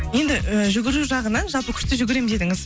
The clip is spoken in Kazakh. енді і жүгіру жағынан жалпы күшті жүгіремін дедіңіз